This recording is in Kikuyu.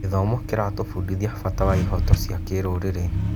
Gĩthomo kĩratũbundithia bata wa ihooto cia kĩrũrĩrĩ.